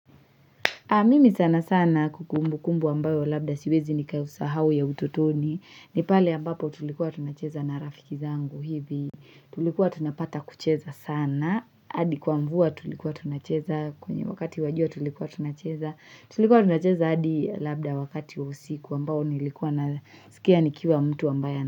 Mimi sanasana kumbukumbu ambayo labda siwezi nikaisahau ya utotoni ni pale ambapo tulikuwa tunacheza na rafiki zangu hivi tulikuwa tunapata kucheza sana adi kwa mvua tulikuwa tunacheza kwenye wakati wa jua tulikuwa tunacheza tulikuwa tunacheza adi labda wakati wa usiku ambao nilikuwa nasikia nikiwa mtu ambaye.